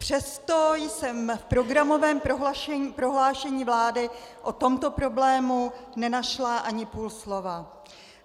Přesto jsem v programovém prohlášení vlády o tomto problému nenašla ani půl slova.